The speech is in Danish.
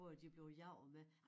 På at de blev jaget med